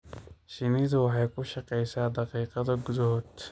Shinnidu waxay ku shaqeysaa daqiiqado gudahood.